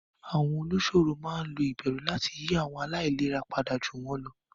Àwọn olùsọ̀rọ̀ máa ń lo ìbẹ̀rù láti yí àwọn aláìlera padà ju wọn lọ.